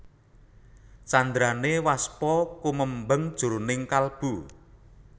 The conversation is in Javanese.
Candrané Waspa kumembeng jroning kalbu